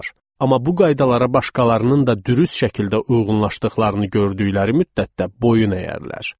Amma bu qaydalara başqalarının da dürüst şəkildə uyğunlaşdıqlarını gördükləri müddətdə boyun əyərlər.